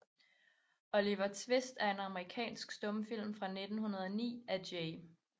Oliver Twist er en amerikansk stumfilm fra 1909 af J